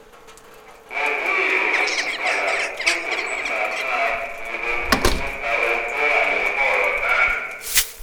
mo béèrè fún àlàyé dípò tí màá fi máa ronú nípa ohun tó wà nínú ọ̀rọ̀ náà